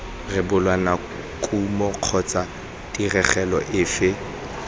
rebola kumo kgotsa tirelo efe